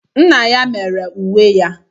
Nna ya mere uwe ya.